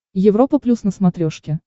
европа плюс на смотрешке